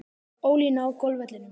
Ólína á golfvellinum.